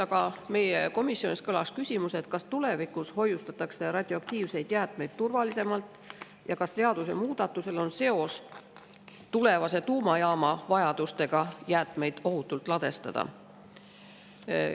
Aga meie komisjonis kõlas küsimus, kas tulevikus hoiustatakse radioaktiivseid jäätmeid turvalisemalt ja kas seadusemuudatusel on seos tulevase tuumajaama vajadusega jäätmeid ohutult ladustada.